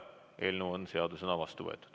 Eelnõu on seadusena vastu võetud.